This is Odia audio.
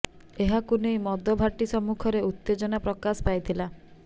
ଏହାକୁ ନେଇ ମଦ ଭାଟି ସମ୍ମୁଖରେ ଉତ୍ତେଜନା ପ୍ରକାଶ ପାଇଥିଲା